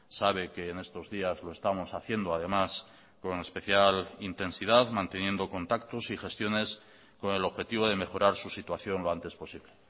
sabe que en estos días lo estamos haciendo además con especial intensidad manteniendo contactos y gestiones con el objetivo de mejorar su situación lo antes posible